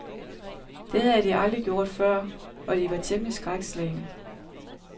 Det havde de aldrig gjort før, og de var temmelig skrækslagne.